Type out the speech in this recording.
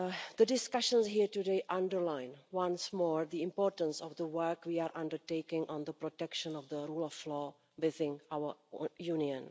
The discussions here today underline once more the importance of the work we are undertaking on the protection of the rule of law within our Union.